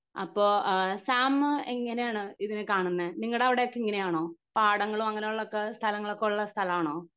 അപ്പൊ എഹ് സാം എങ്ങിനെ ആണ് ഇതിനെ കാണുന്നെ നിങ്ങടെ അവിടെയൊക്കെ ഇങ്ങനെയാണോ പാടങ്ങളും അങ്ങിനെ ഉള്ള ഒക്കെ സ്ഥലങ്ങളൊക്കെ ഉള്ള സ്ഥലാണോ